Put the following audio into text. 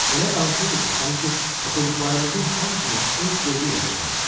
Elə danışırdı ki, sanki oxuduqlarımızın hamısını öz gözü ilə görmüşdü.